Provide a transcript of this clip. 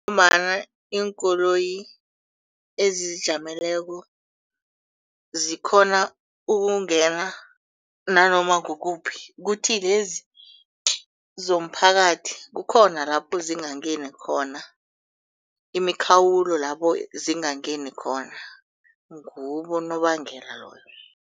Ngombana iinkoloyi ezizijameleko zikghona ukungena nanoma kukuphi kuthi lezi zomphakathi kukhona lapho zingangeni khona. Imikhawulo labo zingangeni khona nguwo unobangela loyo.